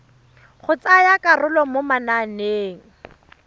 go tsaya karolo mo mananeng